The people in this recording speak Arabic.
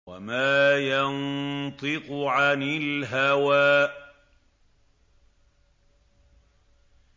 وَمَا يَنطِقُ عَنِ الْهَوَىٰ